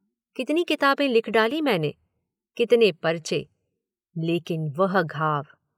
कितनी किताबें लिख डालीं मैंने, कितने पर्चे, लेकिन वह घाव।